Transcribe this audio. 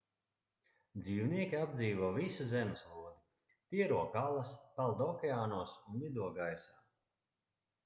dzīvnieki apdzīvo visu zemeslodi tie rok alas peld okeānos un lido gaisā